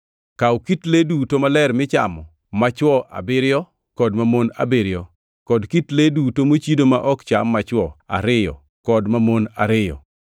Kaw kit le duto maler michamo machwo abiriyo kod mamon abiriyo kod kit le duto mochido ma ok cham machwo ariyo kod mamon ariyo,